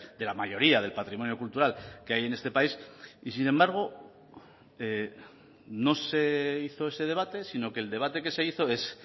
de la mayoría del patrimonio cultural que hay en este país y sin embargo no se hizo ese debate sino que el debate que se hizo es